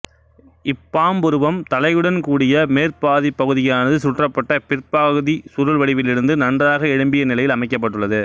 இப்பாம்புருவம் தலையுடன் கூடிய மேற்பாதிப் பகுதியானது சுற்றப்பட்ட பிற்பாதிச் சுருள் வடிவிலிருந்து நன்றாக எழும்பிய நிலையில் அமைக்கப்பட்டுள்ளது